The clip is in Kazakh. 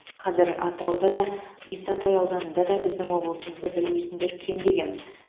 қазір атырауда да исатай ауданында да біздің облысымызды білмейтіндер кемде кем